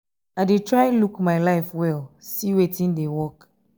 i dey try look my life well see wetin dey work